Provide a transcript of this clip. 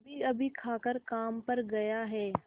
अभीअभी खाकर काम पर गया है